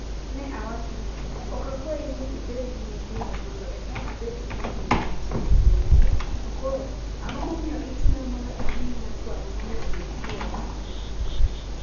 Ne awacho ni, 'Ok akwayi ni ibed gi nyithindo mondo eka abed gi nyaminwa matin, donge? To koro, ang'o momiyo ichuna mondo amiyi nyakwara mondo obed chwora?